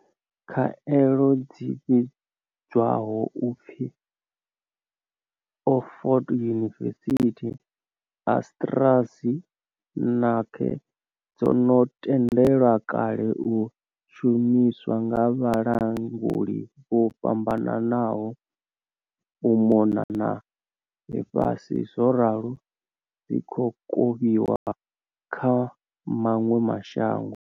Khaelo dzi vhidzwaho u pfi Oxford University-AstraZe neca dzo no tendelwa kale u shumiswa nga vhalanguli vho fhambananaho u mona na ḽifhasi zworalo dzi khou kovhiwa kha maṅwe mashango.